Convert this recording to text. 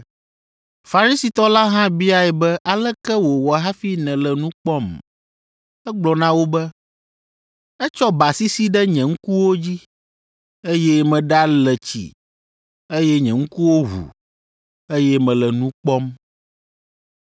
Farisitɔ la hã biae be aleke wòwɔ hafi nèle nu kpɔm? Egblɔ na wo be, “Etsɔ ba sisi ɖe nye ŋkuwo dzi, eye meɖale tsi, eye nye ŋkuwo ʋu, eye mele nu kpɔm.”